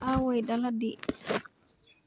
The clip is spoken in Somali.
Aaway daladii?